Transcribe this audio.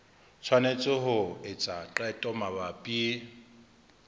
tshwanetse ho etsa qeto mabapi